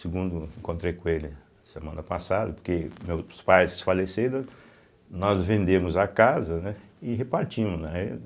Segundo, encontrei com ele semana passada, porque meus pais faleceram, nós vendemos a casa, né e repartimos, né? aê